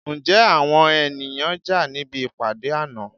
Ǹjẹ́ àwọn ènìyàn jà níbi ìpàdé àná?